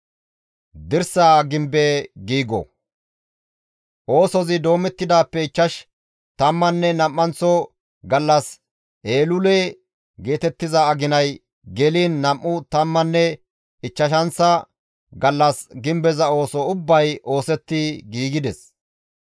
Oosozi doometidaappe ichchash tammanne nam7anththo gallas Eelule geetettiza aginay geliin nam7u tammanne ichchashanththa gallas gimbeza ooso ubbay oosetti giigides.